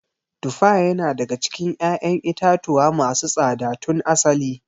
Tufa yana daga cikin ƴaƴan itatuwa masu tsada tun asali.